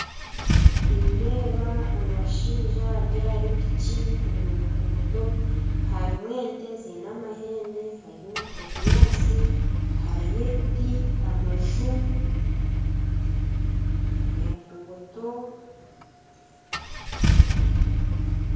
Nindeeba omushaija ari ahari piki omu nguuto harimu ente ziine amahembe bari ebinyaatsi hariyo ebiti amaju enguuto